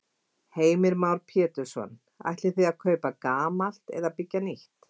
Heimir Már Pétursson: Ætlið þið að kaupa gamalt eða byggja nýtt?